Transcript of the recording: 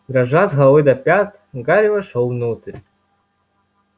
дрожа с головы до пят гарри вошёл внутрь